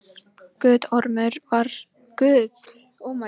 Guttormur var notað á Norðurlöndum frá fornu fari.